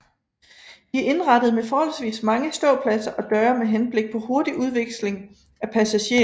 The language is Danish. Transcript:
De er indrettet med forholdsvis mange ståpladser og døre med henblik på hurtig udveksling af passagerer